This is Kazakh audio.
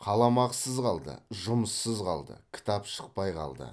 қаламақысыз қалды жұмыссыз қалды кітап шықпай қалды